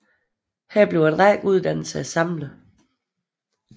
Her bliver en række uddannelser samlet